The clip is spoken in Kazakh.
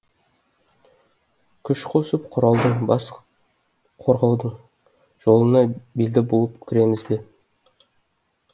күш қосып құралдардың бас қорғаудың жолына белді буып кіреміз бе